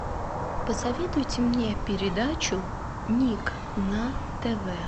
посоветуйте мне передачу ник на тв